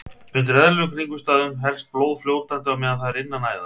Undir eðlilegum kringumstæðum helst blóð fljótandi á meðan það er innan æða.